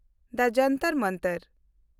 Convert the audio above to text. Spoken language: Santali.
ᱫᱟ ᱡᱚᱱᱛᱚᱨ ᱢᱚᱱᱛᱚᱨ